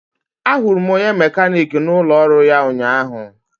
Ahụrụ m onye mekaniki n'ụlọ ọrụ ya ụnyahụ